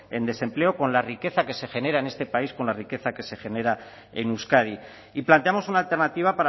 en desempleo con la riqueza que se genera en este país con la riqueza que se genera en euskadi y planteamos una alternativa